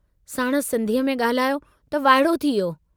साणुसि सिन्धीअ में गाल्हायो त वाइड़ो थी वियो।